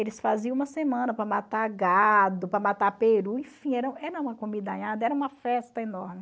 Eles faziam uma semana para matar gado, para matar peru, enfim, era uma comidaiada, era uma festa enorme.